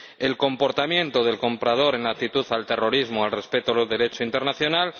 el comportamiento del comprador en cuanto al terrorismo, al respeto del Derecho internacional